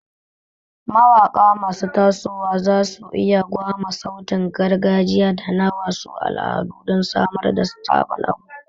Mawaƙa masu tasowa za su iya gwama sautin gargajiya da na wasu al'adun don samar da sabon abu.